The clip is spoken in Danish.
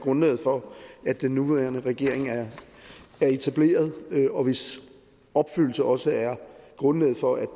grundlaget for at den nuværende regering er etableret og hvis opfyldelse også er grundlaget for at